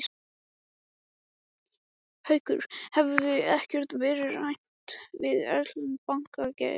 Haukur: Hefur ekkert verið rætt við erlenda banka, Geir?